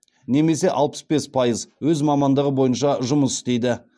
немесе алпыс бес пайыз өз мамандығы бойынша жұмыс істейді